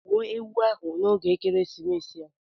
Gbuo ewu ahụ n'oge ekeresimesi a.